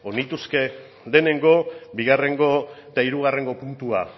nituzke lehenengo bigarrengo eta hirugarrengo puntua